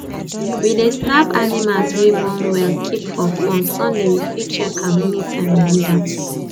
we dey snap animals wey born well keep for phone sunday we fit check am anytime we need am